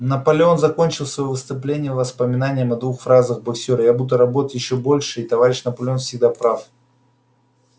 наполеон закончил своё выступление воспоминанием о двух фразах боксёра я буду работать ещё больше и товарищ наполеон всегда прав